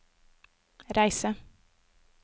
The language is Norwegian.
reise